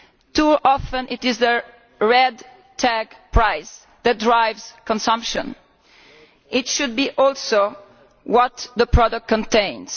Too often it is the red tag price' that drives consumption, when it should also be what the product contains.